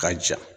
Ka ja